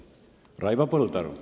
Raivo Põldaru.